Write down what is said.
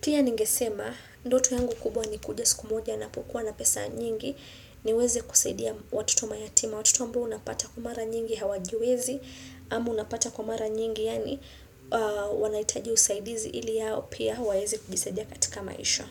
Pia ningesema, ndoto yangu kubwa ni kuja siku moja napo kuwa na pesa nyingi niweze kusaidia watoto mayatima Watoto ambao unapata kwa mara nyingi hawajiwezi Ama unapata kwa mara nyingi yaani wanahitaji usaidizi ili hao pia waweze kujisaidia katika maisha.